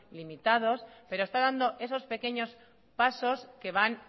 limitados pero está dando esos pequeños pasos que van